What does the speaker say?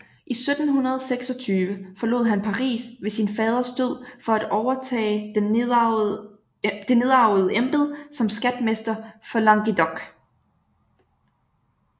I 1726 forlod han Paris ved sin faders død for at overtage det nedarvede embede som skatmester for Languedoc